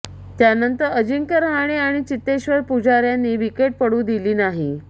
त्यानंतर अजिंक्य रहाणे आणि चेतेश्वर पुजार यांनी विकेट पडू दिली नाही